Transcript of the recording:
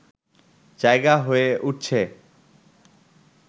জায়গা হয়ে উঠছে